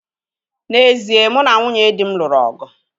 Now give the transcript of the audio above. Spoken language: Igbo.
N'ezie, mụ na nwunye dị m lụrụ ọgụ